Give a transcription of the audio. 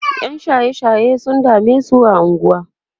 ƴan shaye shaye sun damesu a unguwa